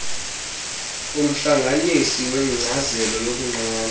umhlanganisi wenkcazelo yokunqanda